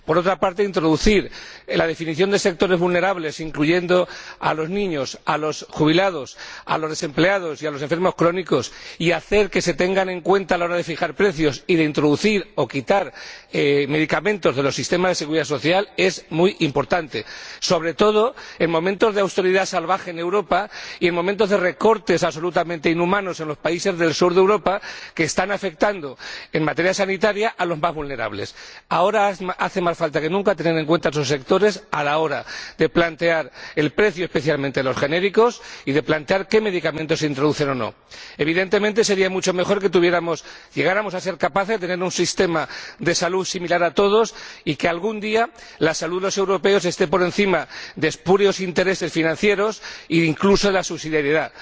Por otra parte, introducir la definición de sectores vulnerables, incluyendo a los niños, a los jubilados, a los desempleados y a los enfermos crónicos, y hacer que se tengan en cuenta a la hora de fijar precios y de introducir o quitar medicamentos de los sistemas de seguridad social, es muy importante, sobre todo en momentos de austeridad salvaje en Europa y en momentos de recortes absolutamente inhumanos en los países del sur de Europa que están afectando en materia sanitaria a los más vulnerables. Ahora hace más falta que nunca tener en cuenta a esos sectores a la hora de plantear el precio, especialmente en los genéricos, y de plantear qué medicamentos se introducen o no. Evidentemente, sería mucho mejor que llegáramos a ser capaces de tener un sistema de salud similar para todos y que algún día la salud de los europeos esté por encima de espurios intereses financieros e, incluso, de la subsidiariedad.